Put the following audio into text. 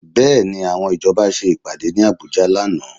Bẹ́ẹ̀ni, àwọn ìjọba ṣe ìpàdé ní Àbújá lánàá